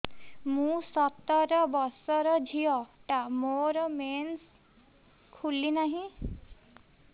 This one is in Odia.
ମୁ ସତର ବର୍ଷର ଝିଅ ଟା ମୋର ମେନ୍ସେସ ଖୁଲି ନାହିଁ